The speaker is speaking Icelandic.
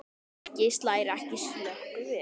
Helgi slær ekki slöku við.